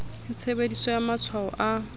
le tshebediso ya matshwao a